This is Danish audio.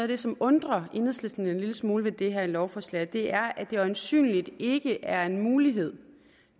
det som undrer enhedslisten en lille smule ved det her lovforslag og det er at det øjensynlig ikke er en mulighed